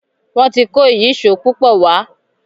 Wón tí kò Ìyíṣòó púpọ wá.